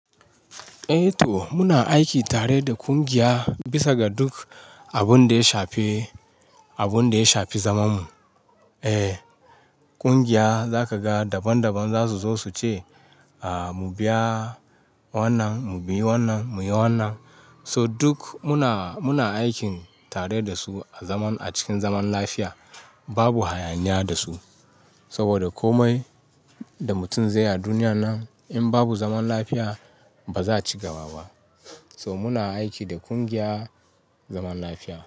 Eh to muna aiki tare da kungiya bisa ga duk abin da ya shafi, abin da ya shafi zamanmu. Eh, kungiya za ka ga daban-daban za su zo su ce, ah, mu biya wannan, mu biya wannan, mu yi wannan. So duk muna, muna aikin tare da su a zaman a cikin zaman lafiya. Babu hayaniya da su saboda komai da mutum zai yi a duniya nan in babu zaman lafiya ba za ci gaba ba. So muna aiki da kungiya zaman lafiya.